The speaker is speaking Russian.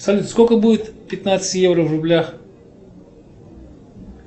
салют сколько будет пятнадцать евро в рублях